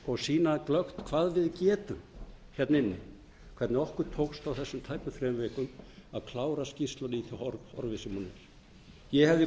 og sýna glöggt hvað við getum hérna inni hvernig okkur tókst á þessum tæpum þrem vikum að klára skýrsluna í því horfi sem hún er ég hefði